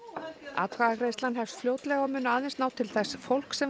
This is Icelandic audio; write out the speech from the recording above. atkvæðagreiðslan hefst fljótlega og mun aðeins ná til þess fólks sem